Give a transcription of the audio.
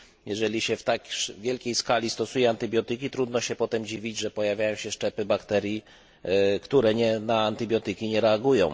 Jeżeli się na tak wielką skalę stosuje antybiotyki trudno się potem dziwić, że pojawiają się szczepy bakterii, które na antybiotyki nie reagują.